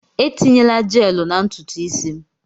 Etinyena Jeelụ na ntutu isi m!